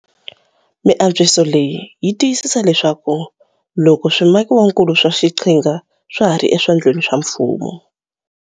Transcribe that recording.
Miantswiso leyi yi ta tiyisisa leswaku loko swimakiwakulu swa xiqhinga swa ha ri eswandleni swa mfumo.